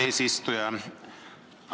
Eesistuja!